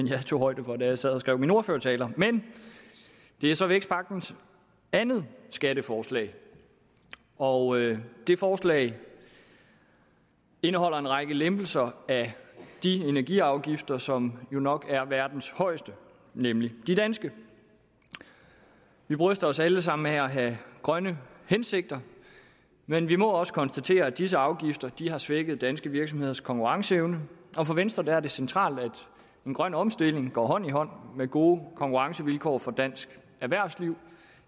jeg tog højde for da jeg sad og skrev min ordførertale men det er så vækstpakkens andet skatteforslag og det forslag indeholder en række lempelser af de energiafgifter som jo nok er verdens højeste nemlig de danske vi bryster os alle sammen af at have grønne hensigter men vi må også konstatere at disse afgifter har svækket danske virksomheders konkurrenceevne og for venstre er det centralt at en grøn omstilling går hånd i hånd med gode konkurrencevilkår for dansk erhvervsliv